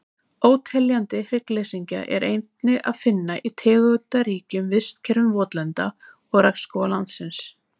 óteljandi hryggleysingja er einnig að finna í tegundaríkum vistkerfum votlenda og regnskóga landsins